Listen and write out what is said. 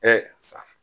safun